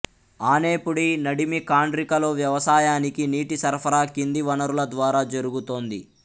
ఆనెపూడి నడిమి ఖండ్రికలో వ్యవసాయానికి నీటి సరఫరా కింది వనరుల ద్వారా జరుగుతోంది